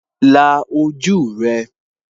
La ojú rẹ